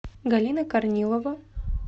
галина корнилова